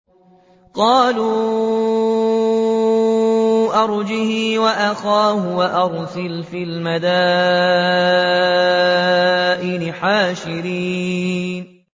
قَالُوا أَرْجِهْ وَأَخَاهُ وَأَرْسِلْ فِي الْمَدَائِنِ حَاشِرِينَ